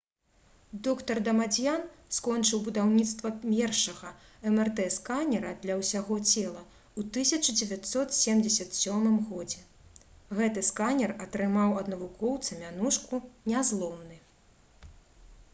др. дамадзьян скончыў будаўніцтва першага мрт-сканера «для ўсяго цела» у 1977 г. гэты сканер атрымаў ад навукоўца мянушку «нязломны»